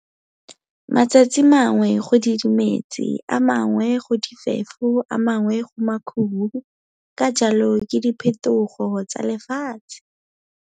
Matsatsi mangwe go didimetse, a mangwe go difefo a mangwe go makhubo, ka jalo ke di phetogo tsa lefatshe!